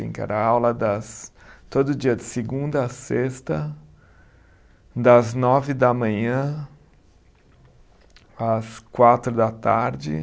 Era aula das, todo dia de segunda a sexta, das nove da manhã às quatro da tarde.